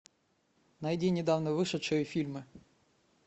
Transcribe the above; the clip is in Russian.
найди недавно вышедшие фильмы